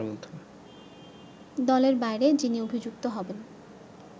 দলের বাইরে যিনি অভিযুক্ত হবেন